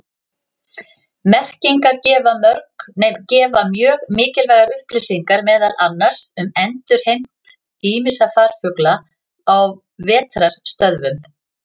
Merkingar gefa mjög mikilvægar upplýsingar meðal annars um endurheimt ýmissa farfugla á vetrarstöðvum.